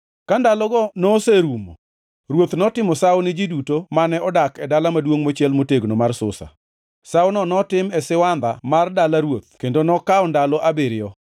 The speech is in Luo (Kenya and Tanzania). Ka ndalogo noserumo, ruoth notimo sawo ni ji duto mane odak e dala maduongʼ mochiel motegno mar Susa. Sawono notim e siwandha mar dala ruoth kendo nokawo ndalo abiriyo.